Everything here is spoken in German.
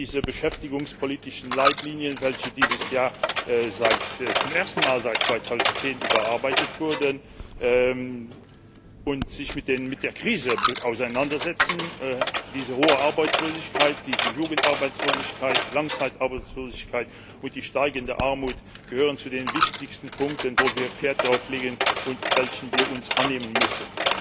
Diese beschäftigungspolitischen Leitlinien, welche dieses Jahr zum ersten Mal seit 2010 überarbeitet wurden und sich mit der Krise auseinandersetzen, diese hohe Arbeitslosigkeit, diese Jugendarbeitslosigkeit, Langzeitarbeitslosigkeit und die steigende Armut gehören zu den wichtigsten Punkten, auf die wir viel Wert legen und welcher wir uns annehmen müssen.